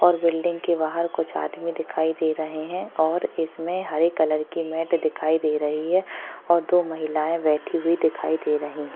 और बिल्डिंग के बाहर कुछ आदमी दिखाई दे रहे है और इसमें हरे कलर की मॅट दिखाई दे रही है और दो महिलाये बैठी हुई दिखाई दे रही --